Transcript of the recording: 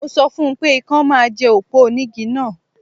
Mo sọ fún pé ikán máa jẹ òpó onígi náà